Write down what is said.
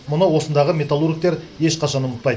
мұны осындағы металлургтер ешқашан ұмытпайды